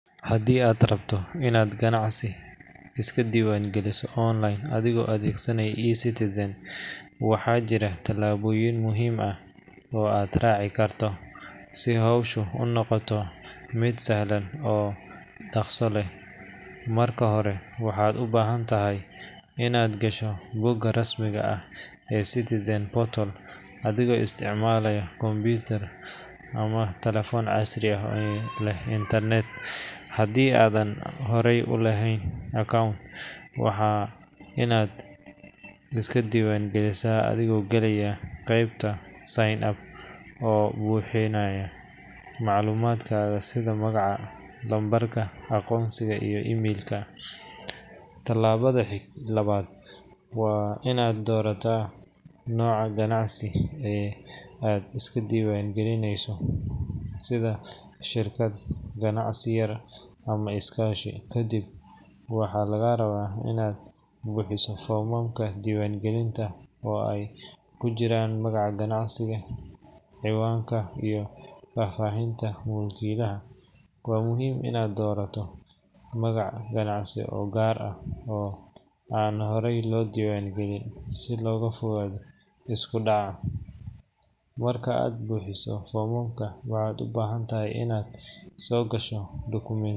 Haddii aad rabto inaad ganacsi iska diiwaangeliso online adigoo adeegsanaya eCitizen, waxaa jira tallaabooyin muhiim ah oo aad raaci karto si hawshu u noqoto mid sahlan oo dhakhso leh. Marka hore, waxaad u baahan tahay inaad gasho bogga rasmiga ah ee eCitizen portal adigoo isticmaalaya computer ama taleefan casri ah oo leh internet. Haddii aadan hore u lahayn account, waa inaad iska diiwaangelisaa adigoo galaya qeybta sign up oo buuxinaya macluumaadkaaga sida magaca, lambarka aqoonsiga, iyo emailka. Tallaabada labaad waa inaad doorataa nooca ganacsi ee aad iska diiwaangelinayso, sida shirkad, ganacsi yar, ama iskaashi. Kadib, waxaa lagaa rabaa inaad buuxiso foomamka diiwaangelinta oo ay ku jiraan magaca ganacsiga, cinwaanka, iyo faahfaahinta mulkiilaha. Waa muhiim inaad doorato magac ganacsi oo gaar ah oo aan horey loo diiwaangelin si looga fogaado isku dhac. Marka aad buuxiso foomamka, waxaad u baahan tahay inaad soo gasho dukumiinti.